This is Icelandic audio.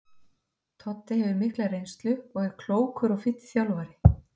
Toddi hefur mikla reynslu og er klókur og fínn þjálfari.